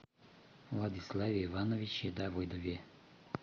владиславе ивановиче давыдове